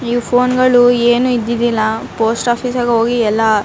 ಈ ಫೋನ್ ಗಳು ಏನು ಇದ್ದಿದ್ದಿಲ್ಲ ಪೋಸ್ಟ್ ಓಫೀಸ್ ಯಾಗ ಹೋಗಿ ಎಲ್ಲ --